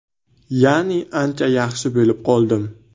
Ya’ni ancha yaxshi bo‘lib qoldim.